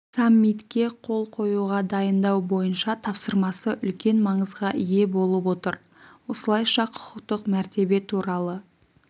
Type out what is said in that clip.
саммитке қол қоюға дайындау бойынша тапсырмасы үлкен маңызға ие болып отыр осылайша құқықтық мәртебе туралы